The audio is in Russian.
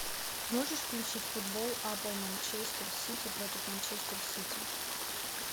можешь включить футбол апл манчестер сити против манчестер сити